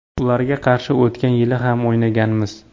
Ularga qarshi o‘tgan yili ham o‘ynaganmiz.